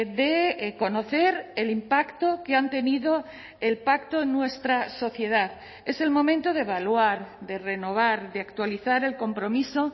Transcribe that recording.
de conocer el impacto que han tenido el pacto en nuestra sociedad es el momento de evaluar de renovar de actualizar el compromiso